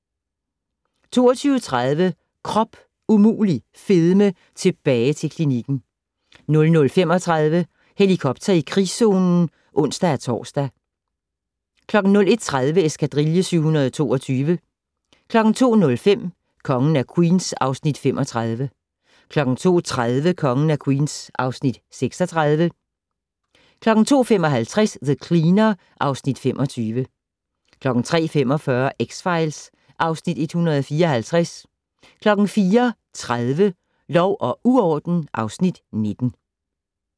22:30: Krop umulig fedme - tilbage til klinikken 00:35: Helikopter i krigszonen (ons-tor) 01:30: Eskadrille 722 02:05: Kongen af Queens (Afs. 35) 02:30: Kongen af Queens (Afs. 36) 02:55: The Cleaner (Afs. 25) 03:45: X-Files (Afs. 154) 04:30: Lov og uorden (Afs. 19)